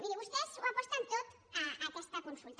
miri vostès ho aposten tot a aquesta consulta